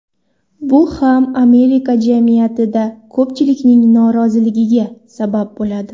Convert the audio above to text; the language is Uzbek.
Bu ham Amerika jamiyatida ko‘pchilikning noroziligiga sabab bo‘ladi.